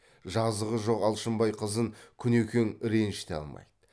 жазығы жоқ алшынбай қызын күнекең ренжіте алмайды